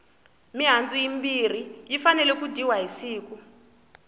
mihandzu yimbirhi yi fanele ku dyiwa hi siku